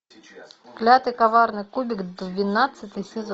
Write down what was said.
клятый коварный кубик двенадцатый сезон